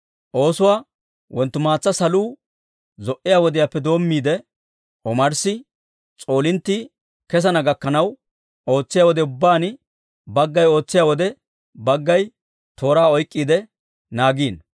Oosuwaa wonttumaatsa saluu zo"iyaa wodiyaappe doommiide, omarssi s'oolinttii kessana gakkanaw ootsiyaa wode ubbaan, baggay ootsiyaa wode, baggay tooraa oyk'k'iide naagiino.